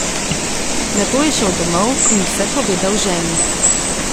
Nato je šel domov in vse povedal ženi.